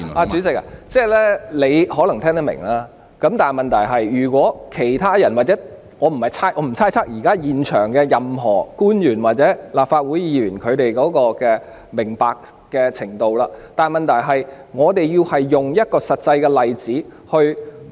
主席，你可能聽得明白，但如果其他人或者......我不會猜測現場任何一位官員或立法會議員明白的程度，但問題是，我們要用一個實際例子來證明......